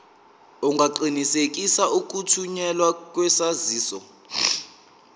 ungaqinisekisa ukuthunyelwa kwesaziso